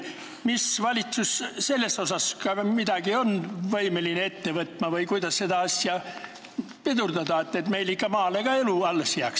Kas valitsus on võimeline midagi ette võtma või kuidas seda asja pidurdada, et meil ka maal elu ikka alles jääks?